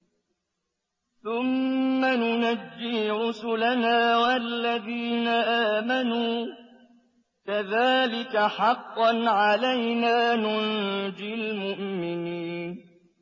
ثُمَّ نُنَجِّي رُسُلَنَا وَالَّذِينَ آمَنُوا ۚ كَذَٰلِكَ حَقًّا عَلَيْنَا نُنجِ الْمُؤْمِنِينَ